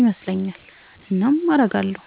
ይመስለኛል። እናም አረጋለው።